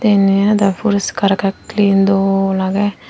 inniyo dow poriskar agey clean dol agey.